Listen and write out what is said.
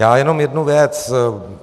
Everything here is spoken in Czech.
Já jenom jednu věc.